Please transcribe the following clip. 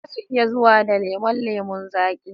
Zasu iya zuwa da lemon lemon zaki